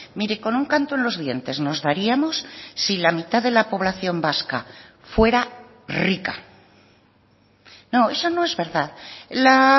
mire con un canto en los dientes nos daríamos si la mitad de la población vasca fuera rica no eso no es verdad la